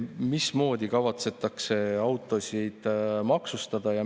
Mismoodi kavatsetakse autosid maksustada?